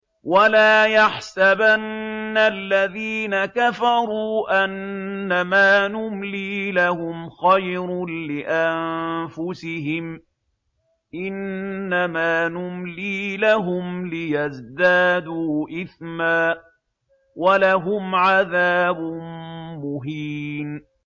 وَلَا يَحْسَبَنَّ الَّذِينَ كَفَرُوا أَنَّمَا نُمْلِي لَهُمْ خَيْرٌ لِّأَنفُسِهِمْ ۚ إِنَّمَا نُمْلِي لَهُمْ لِيَزْدَادُوا إِثْمًا ۚ وَلَهُمْ عَذَابٌ مُّهِينٌ